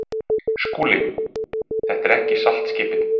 SKÚLI: Þetta er ekki saltskipið.